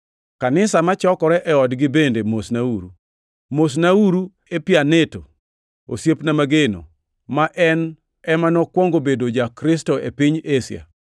Kanisa machokore e odgi bende mosnauru. Mosnauru Epaineto, osiepna mageno, ma en ema nokwongo bedo ja-Kristo e piny Asia.